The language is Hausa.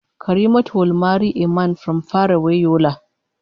Karimatu will marry a man from far away Yola